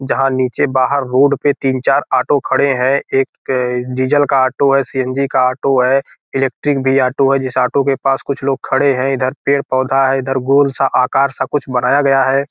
जहाँ नीचे बाहर रोड पे तीन चार ऑटो खड़े हैं | एक डीजल का ऑटो है सीएनजी का ऑटो है इलेक्ट्रिक भी ऑटो है | जिस ऑटो के पास कुछ लोग खड़े हैं | इधर पेड़ पौधा है | इधर गोल सा आकार सा कुछ बनाया गया है |